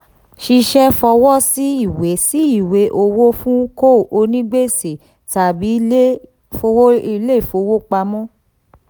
ṣiṣẹ fọwọ́ sí ìwé sí ìwé owó fún co onígbèsè tàbí ilé ìfowopamọ́.